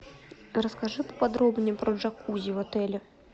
расскажи поподробнее про джакузи в отеле